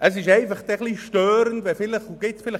Es ist auch richtig, sich hier zu vernetzen.